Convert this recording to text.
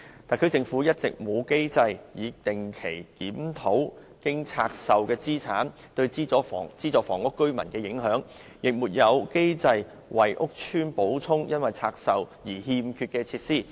特區政府一直沒有機制定期檢討拆售後的資產對資助房屋居民的影響，亦沒有機制為屋邨補充因拆售而欠缺的設施。